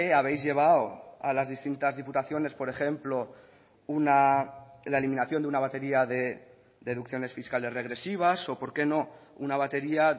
habéis llevado a las distintas diputaciones por ejemplo la eliminación de una batería de deducciones fiscales regresivas o por qué no una batería